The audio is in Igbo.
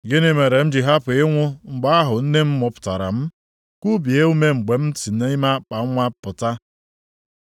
“Gịnị mere m ji hapụ ịnwụ mgbe ahụ nne m mụpụtara m, kubie ume mgbe m si nʼime akpanwa pụta?